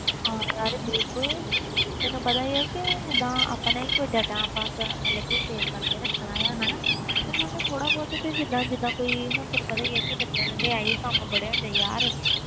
ਹਾ ਯਾਰ ਬਿਲਕੁਲ ਤੈਨੂੰ ਪਤਾ ਆ ਕਿ ਜੀਦਾ ਆਪਣਾ ਹੀ data ਕੋਈ ਦਾ ਮਤਲਬ save ਕਰਕੇ ਰੱਖਣਾ ਹੁੰਦਾ ਆ ਉਹ ਸਾਨੂੰ ਥੋੜਾ ਬਹੁਤ ਜੀਦਾ ਕੋਈ ਤੈਨੂੰ ਪਤਾ ਆ ਕਿ ਬੱਚਿਆਂ ਦਾ ਤੇ ਅਹਿ ਕੰਮ